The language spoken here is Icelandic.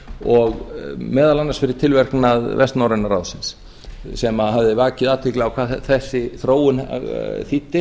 og meðal annars fyrir tilverknað vestnorræna ráðsins sem hafði vakið athygli á hvað þessi þróun þýddi